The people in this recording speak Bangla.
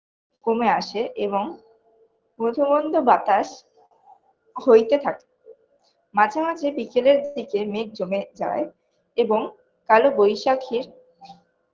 কমে আসে এবং মধোমন্দ বাতাস হইতে থাকে মাঝেমাঝে বিকেলের দিকে মেঘ জমে যায় এবং কালো বৈশাখীর